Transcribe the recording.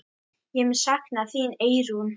Ég mun sakna þín, Eyrún.